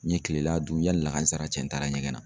N ye kilela dun yanni lahansara cɛ n taara ɲɛgɛn na.